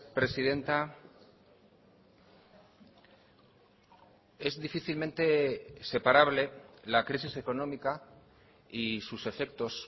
presidenta es difícilmente separable la crisis económica y sus efectos